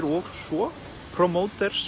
og svo